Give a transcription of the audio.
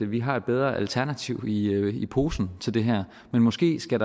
vi har et bedre alternativ i i posen til det her men måske skal